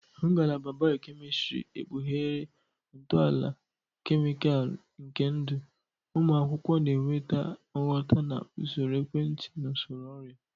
Ngalaba biokemistiri ekpughere ntọala kemịkalụ nke ndụ, ụmụ akwụkwọ na-enweta nghọta na usoro ekwentị na usoro ọrịa.